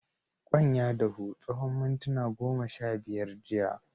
Kwan ya dahu tsawan muntuna goma sha biyar jiya.